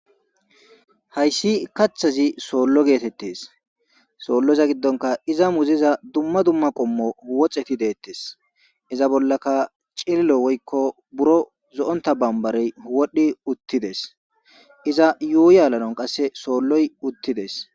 Hayssi kathazi soollo geetettees.soolloza giddonka iza muziza dumma dumma qommo woxeti deettes.iza bollankka cililo wykko buro zo7ontta barbarey wodhdhi uttides.iza yuuyi aadhanaw qasse soolloy uttides.